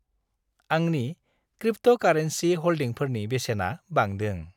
आंनि क्रिप्ट'कारेन्सि हल्डिंफोरनि बेसेना बांदों।